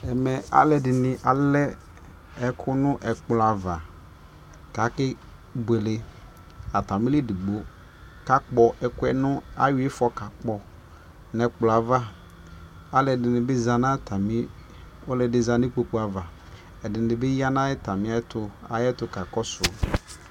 ɛmɛ alʋɛdini alɛ ɛkʋ nʋ ɛkplɔ aɣa kʋ akɛ bʋɛlɛ, atami li ɛdigbɔ ka kpɔ ɛkʋɛ nʋ ayɔ iƒɔ ka kpɔ nʋ ɛkplɔɛ aɣa, alʋɛdini bi zanʋ atani, ɔlʋɛdini zanʋikpɔkʋ aɣa, ɛdini bi yanʋ ayɛtʋ kakɔsʋ